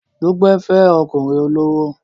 Dúpẹ́ fẹ́ ọkùnrin olówó